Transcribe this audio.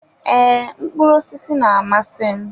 Ee, mkpụrụ osisi na-amasị m.